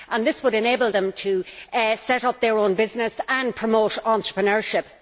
This would enable them to set up their own business and promote entrepreneurship.